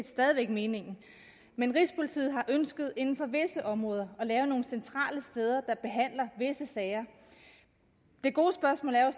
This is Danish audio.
stadig væk meningen men rigspolitiet har ønsket inden for visse områder at lave nogle centrale steder der behandler visse sager det gode spørgsmål er